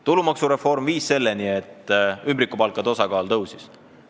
Tulumaksureform on toonud kaasa selle, et ümbrikupalkade osakaal on tõusnud.